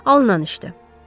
Alınan işdi.